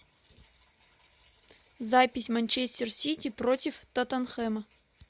запись манчестер сити против тоттенхэма